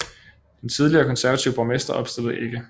Den tidligere konservative borgmester opstillede ikke